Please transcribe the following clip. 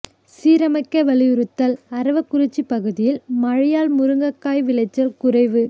சீரமைக்க வலியுறுத்தல் அரவக்குறிச்சி பகுதியில் மழையால் முருங்கைக்காய் விளைச்சல் குறைவு